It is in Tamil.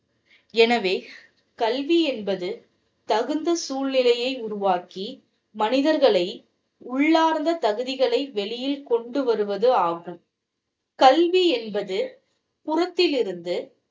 எனவே கல்வி என்பது தகுந்த சூழ்நிலையை உருவாக்கி மனிதர்களை உள்ளார்ந்த தகுதிகை வெளியே கொண்டு வருவதாகும் கல்வி என்பது புறத்திலிருந்து